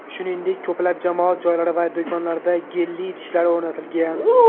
Shuningdek, ko‘plab jamoat joylari va do‘konlarda gelli idishlar o‘rnatilgan.